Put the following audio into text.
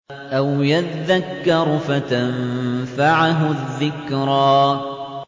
أَوْ يَذَّكَّرُ فَتَنفَعَهُ الذِّكْرَىٰ